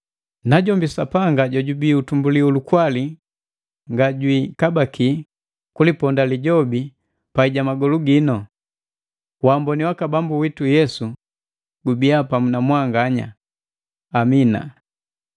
Najombi Sapanga jojubii utumbuli ulukwali nga jwiikabaki kuliponda lijobi pai ja magolu giino. Waamboni waka Bambu witu Yesu gubia pamu na mwanganya. Amina.